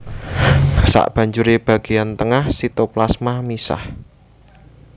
Sabanjuré bagéyan tengah sitoplasma misah